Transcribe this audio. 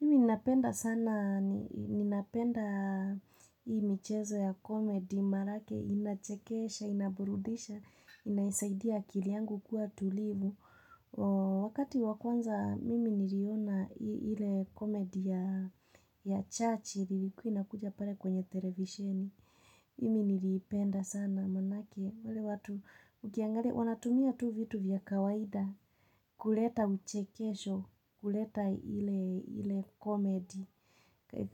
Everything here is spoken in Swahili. Mimi ninapenda sana, ninapenda hii michezo ya komedi, manake, inachekesha, inaburudisha, inaisaidia akili angu kuwa tulivu. Wakati wa kwanza, mimi niriona hile komedi ya chachiri, ilikiwa inakuja pare kwenye televisheni. Mimi niliipenda sana manake wale watu ukiangali wanatumia tu vitu vya kawaida kuleta uchekesho kuleta iile komedi